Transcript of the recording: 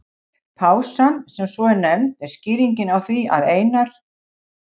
Pásan, sem svo er nefnd, er skýringin á því að Einar